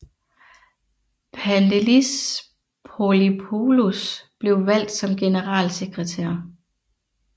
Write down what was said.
Pandelis Pouliopoulos blev valgt som generalsekretær